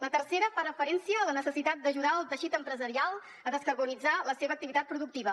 la tercera fa referència a la necessitat d’ajudar el teixit empresarial a descarbonitzar la seva activitat productiva